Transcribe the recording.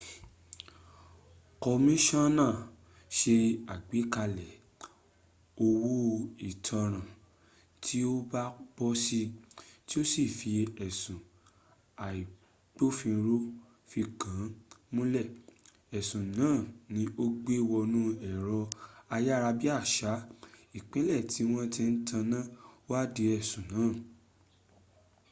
kọmíṣíọ́nà se àgbékalẹ̀ owó ìtanràn tí ó bá bọ́ si tí ó sì fì ẹ̀sùn tí agbófinró fi kàn múnlẹ̀. ẹ̀sùn náà ni ó gbé wọnú ẹ̀rọ ayárabíàsá ìpínlẹ̀ tíwọ́n ti ń taná wádìí ẹ̀sùn náà